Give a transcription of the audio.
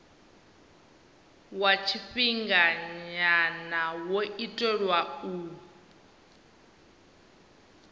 wa tshifhinganya wo itelwa u